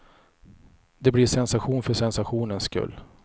Det blir sensation för sensationens skull.